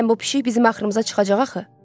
Deyəsən bu pişik bizim axrımıza çıxacaq axı.